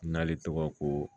N'ale tɔgɔ ko